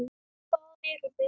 Hvaðan eruð þið?